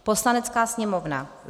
Poslanecká sněmovna: